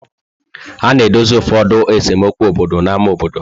A na-edozi ụfọdụ esemokwu obodo n'ámá obodo.